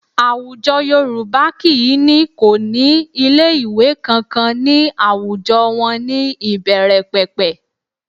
Àwùjọ Yorùbá kì í ní kò ní ilé ìwé kankan ní àwùjọ wọn ní ìbẹ̀rẹ̀pẹ̀pẹ̀